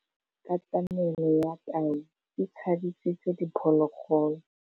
Katamêlô ya tau e tshabisitse diphôlôgôlô.